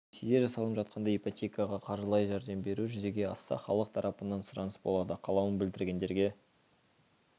ресейде жасалып жатқандай ипотекаға қаржылай жәрдем беру жүзеге асса халық тарапынан сұраныс болады қалауын білдіргендерге